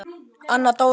Anna Dóra.